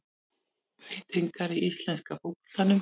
Breytingar í íslenska fótboltanum